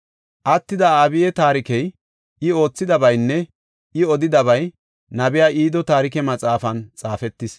Attida Abiyi taarikey, I oothidabaynne I odidabay nabiya Ido taarike maxaafan xaafetis.